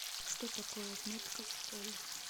что такое отметка в школе